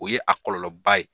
O ye a kɔlɔlɔba ye.